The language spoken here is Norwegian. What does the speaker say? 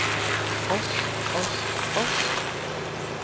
oss oss oss